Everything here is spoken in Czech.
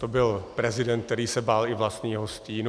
To byl prezident, který se bál i vlastního stínu.